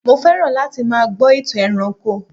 mo fẹràn láti má gbó itan ẹranko